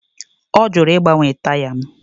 Ọ jụrụ ịgbanwe taya m